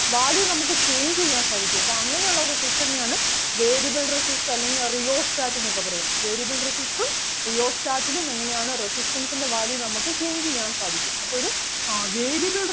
value നമുക്ക് change ചെയ്യാൻ സാധിക്കും അപ്പം അങ്ങനെ ഉള്ള resistor നെ ആണ് variable resistor അല്ലെങ്കിൽ rheostat എന്നൊക്കെ പറയും variable resistor ഉം rheostat ലും എങ്ങനെ ആണ് resistance ൻ്റെ value നമുക്ക് change ചെയ്യാൻ സാധിക്കും അപ്പം ഒരു ആഹ് variable